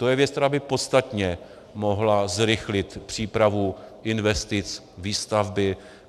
To je věc, která by podstatně mohla zrychlit přípravu investic, výstavby.